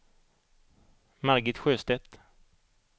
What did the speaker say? Margit Sjöstedt